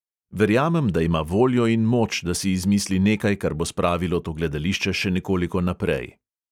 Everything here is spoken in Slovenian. Verjamem, da ima voljo in moč, da si izmisli nekaj, kar bo spravilo to gledališče še nekoliko naprej.